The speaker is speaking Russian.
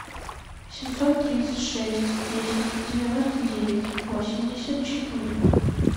семьсот тридцать шесть десять девяносто девять восемьдесят четыре